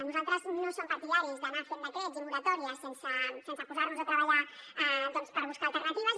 nosaltres no som partidaris d’anar fent decrets i moratòries sense posarnos a treballar per buscar alternatives